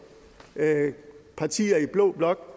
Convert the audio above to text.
partier i blå blok